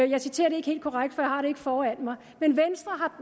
jeg citerer det ikke helt korrekt for jeg har det ikke foran mig men venstre